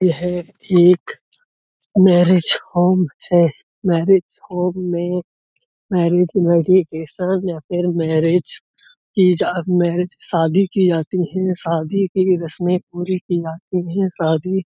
यह एक marriage home है। मैरेज होम में मैरेज वेडिंग के साथ या फिर मैरेज की जा मैरेज शादी की जाती है। शादी की रश्में पूरी की जाती हैं। शादी--